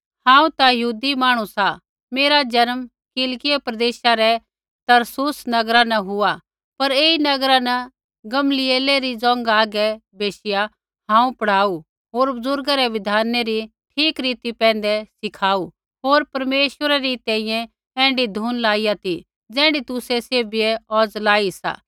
हांऊँ ता यहूदी मांहणु सा मेरा जन्म किलिकियै प्रदेशा रै तरसुस नगरा न हुआ पर ऐई नगरा न गमलीएलै री ज़ोंघा हागै बैशिया हांऊँ पढ़ाऊ होर बुज़ुर्गा रै बिधानै री ठीक रीति पैंधै सिखाऊ होर परमेश्वरै री तैंईंयैं ऐण्ढी धुन लाइया ती ज़ैण्ढी तुसै सैभियै औज़ लाई सा